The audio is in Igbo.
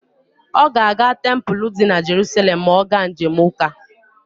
Ọ ga-aga tempulu di na Jeruselem ma ọ ga njem ụka.